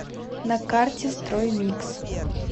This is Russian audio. на карте строймикс